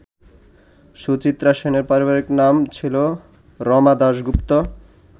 সুচিত্রা সেনের পারিবারিক নাম ছিল রমা দাশগুপ্ত।